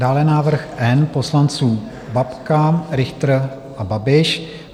Dále návrh N poslanců: Babka, Richter a Babiš.